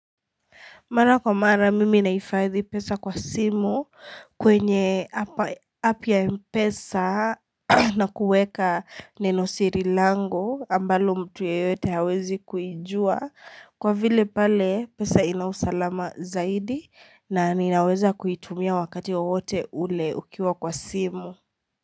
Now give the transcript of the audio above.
Mara kwa mara mimi nahifadhi pesa kwa simu kwenye "app" ya mpesa na kuweka nenosiri langu ambalo mtu yeyote hawezi kuijua. Kwa vile pale pesa ina usalama zaidi, na ninaweza kuitumia wakati wowote ule ukiwa kwa simu.